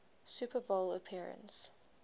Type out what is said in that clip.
super bowl appearance